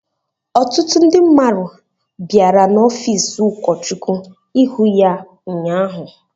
Ọtụtụ ndị mmadụ bịara n’ọfiisi ụkọchukwu ịhụ ya ụnyaahụ.